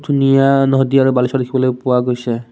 ধুনীয়া নদী আৰু বালিচৰ দেখিবলৈ পোৱা গৈছে।